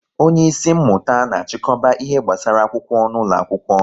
onye isi mmụta na achikoba ihe gbasara akwụkwọ n'ụlọ akwụkwọ